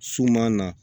Suman na